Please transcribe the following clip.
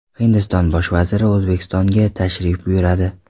Hindiston Bosh vaziri O‘zbekistonga tashrif buyuradi.